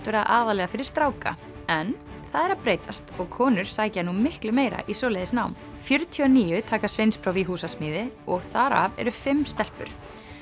vera aðallega fyrir stráka en það er að breytast og konur sækja nú miklu meira í svoleiðis nám fjörutíu og níu taka sveinspróf í húsasmíði og þar af eru fimm stelpur